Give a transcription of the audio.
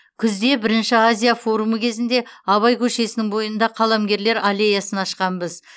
күзде бірінші азия форумы кезінде абай көшесінің бойында қаламгерлер аллеясын ашқанбыз